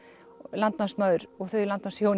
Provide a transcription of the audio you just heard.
landnámsmaður og þau